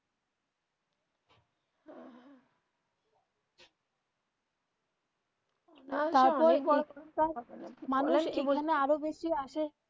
মানুষ এইখানে আরো বেশি আসে,